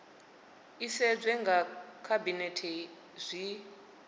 i sedzwe nga khabinethe zwi